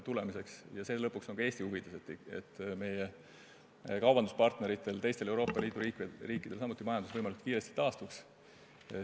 Lõpuks on see ka Eesti huvides, et meie kaubanduspartneritel, teistel Euroopa Liidu riikidel samuti majandus võimalikult kiiresti taastuks.